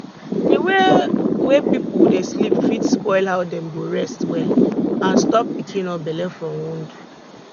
di way wey pipo dey sleep fit spoil how dem go rest well and stop pikin or belle from wound